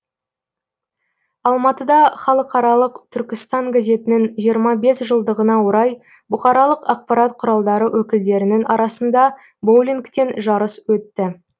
алматыда халықаралық түркістан газетінің жиырма бес жылдығына орай бұқаралық ақпарат құралдары өкілдерінің арасында боулингтен жарыс өтті